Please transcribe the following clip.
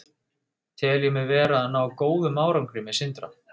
Tel ég mig vera að ná góðum árangri með Sindra?